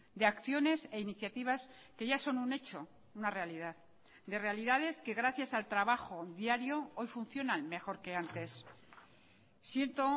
de acciones e iniciativas que ya son un hecho una realidad de realidades que gracias al trabajo diario hoy funcionan mejor que antes siento